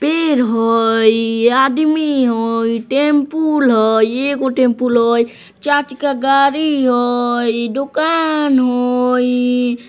पैर हई आदमी हई टैम्पूल हई एगो टैम्पूल हई चार चक्का गाड़ी हई दुकान हई।